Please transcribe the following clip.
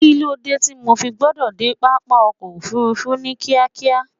kí ló dé tí mo fi gbọdọ̀ dé pápá ọkọ̀ ofurufu ní kíákíá?